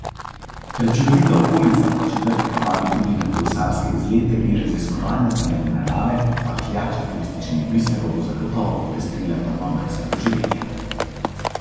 Prečudovita okolica Podčetrtka vabi tudi na kolesarske izlete in raziskovanja zelene narave, pahljača turističnih biserov bo zagotovo popestrila prvomajska doživetja.